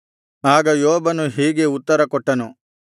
ಆಗ ಯೋಬನು ಹೀಗೆ ಉತ್ತರಕೊಟ್ಟನು